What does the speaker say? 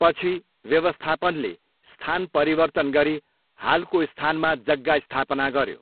पछि, व्यवस्थापनले स्थान परिवर्तन गरी हालको स्थानमा जग्गा स्थापना गऱ्यो।